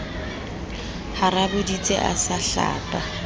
ha raboditse a sa hlapa